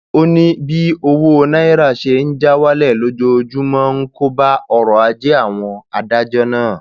ó ní bí owó náírà ṣe ń já wálẹ lójoojúmọ ń kó bá ọrọ ajé àwọn adájọ náà